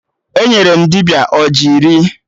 Enyere m dibịa ọjị iri